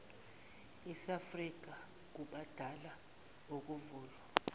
aseafrika kubala nokuvulwa